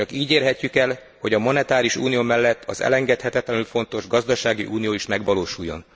Csak így érhetjük el, hogy a monetáris unió mellett az elengedhetetlenül fontos gazdasági unió is megvalósuljon.